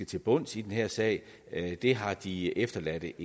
til bunds i den her sag det har de efterladte